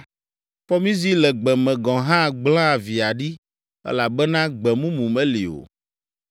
Fɔmizi le gbe me gɔ̃ hã gblẽa via ɖi elabena gbe mumu meli o.